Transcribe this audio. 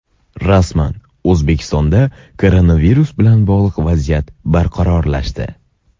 Rasman: O‘zbekistonda koronavirus bilan bog‘liq vaziyat barqarorlashdi.